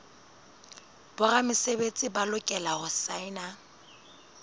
boramesebetsi ba lokela ho saena